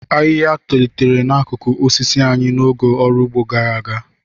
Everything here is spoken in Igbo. Ahịhịa tolitere n'akụkụ osisi anyị n'oge ọrụ ugbo gara aga.